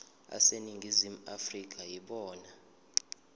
aseningizimu afrika yibona